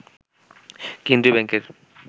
কেন্দ্রীয় ব্যাংকের